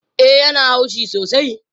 E, ya na haushi sosai